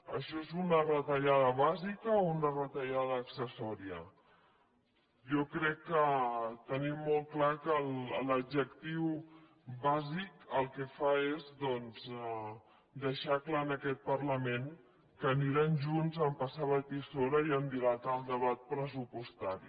això és una retallada bàsica o una retallada accessòria jo crec que tenim molt clar que l’adjectiu bàsic el que fa és doncs deixar clar en aquest parlament que aniran junts a passar la tisora i a dilatar el debat pressupostari